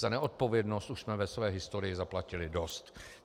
Za neodpovědnost jsme už ve své historii zaplatili dost.